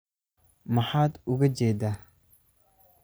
Maxaad uga jeedaa?